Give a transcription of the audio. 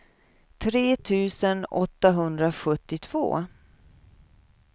tre tusen åttahundrasjuttiotvå